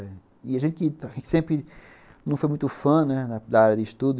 E a gente sempre não foi muito fã, né, da área de estudo.